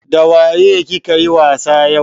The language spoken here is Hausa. Dawaye ki ka yi wasa yau?